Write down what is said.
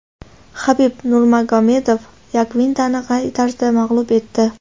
Xabib Nurmagomedov Yakvintani qay tarzda mag‘lub etdi?